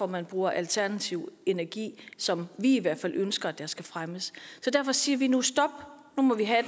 man bruger alternativ energi som vi i hvert fald ønsker skal fremmes derfor siger vi nu stop nu må vi have